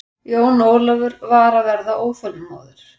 Jón Ólafur var að verða óþolinmóður.